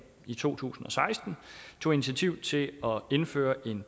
i to tusind og seksten tog initiativ til at indføre en